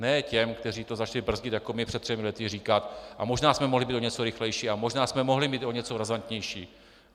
Ne těm, kteří to začali brzdit jako my před třemi lety, říkat: a možná jsme mohli být o něco rychlejší a možná jsme mohli být o něco razantnější.